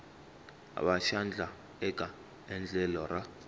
va xandla eka endlelo ra